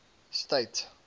state